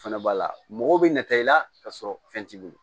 O fɛnɛ b'a la mɔgɔ bɛ nata i la ka sɔrɔ fɛn t'i bolo